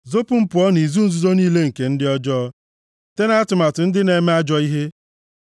Zopu m pụọ nʼizu nzuzo niile nke ndị ọjọọ, site nʼatụmatụ ndị na-eme ajọ ihe.